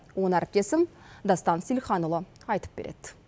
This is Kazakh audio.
оны әріптесім дастан сейілханұлы айтып береді